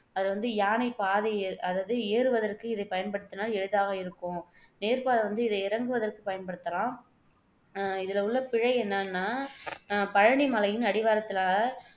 அதை வந்து யானை பாதை அதாவது ஏறுவதற்கு இதை பயன்படுத்தினால் எளிதாக இருக்கும் நேர் பாதை வந்து இதை இறங்குவதற்கு பயன்படுத்தலாம் அஹ் இதுல உள்ள பிழை என்னன்னா பழனி மலையின் அடிவாரத்துல